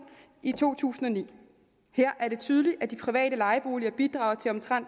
i to tusind og ni og her er det tydeligt at de private lejeboliger bidrager